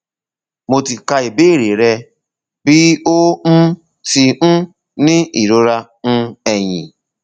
mo ti ka ìbéèrè rẹ bi o um ti um ni irora um eyín